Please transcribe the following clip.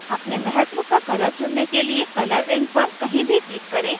अपने महत्व का color चुनने के लिए color ring पर कहीं भी click करें